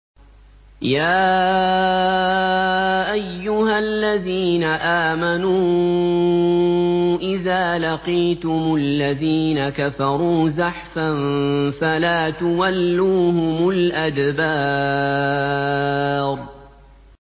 يَا أَيُّهَا الَّذِينَ آمَنُوا إِذَا لَقِيتُمُ الَّذِينَ كَفَرُوا زَحْفًا فَلَا تُوَلُّوهُمُ الْأَدْبَارَ